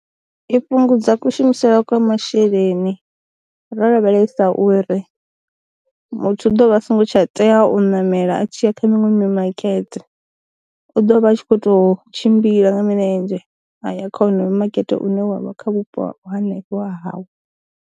I fhungudza kushumisele kwa masheleni, ro lavhelesa uri, muthu u ḓo vha a songo tsha tea u namela a tshiya kha miṅwe mimakete u ḓo vha a tshi kho to tshimbila nga milenzhe aya kha wonoyo makete une wavha kha vhupo hanefho ha hawe.